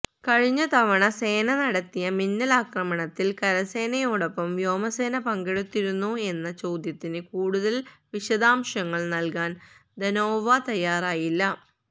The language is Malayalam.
കഴിഞ്ഞ തവണ സേന നടത്തിയ മിന്നലാക്രമണത്തിൽ കരസേനയോടൊപ്പം വ്യോമസേന പങ്കെടുത്തിരുന്നോ എന്ന ചോദ്യത്തിന് കൂടുതൽ വിശദാംശങ്ങൾ നൽകാൻ ധനോവ തയാറായില്ല